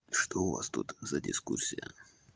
что у вас тут за дискуссия